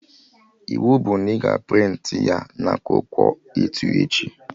Iwu bụ na ị ga a prịntị ya na akwụkwọ A2 echi!